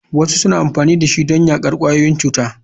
Wasu suna amfani da shi don yaƙar ƙwayoyin cuta.